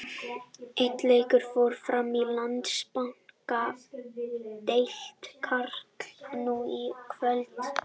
Einn leikur fór fram í Landsbankadeild karla nú í kvöld.